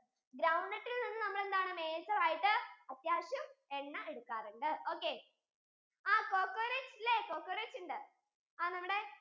ground nut യിൽ നിന്ന് നമ്മൾ എന്താണ് major ആയിട്ടു അത്യാവശ്യം എണ്ണ എടുക്കാറുണ്ട് okay ആ coconut, coconuts ഉണ്ട് ആ നമ്മടെ